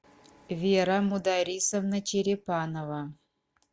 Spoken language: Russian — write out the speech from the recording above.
вера мударисовна черепанова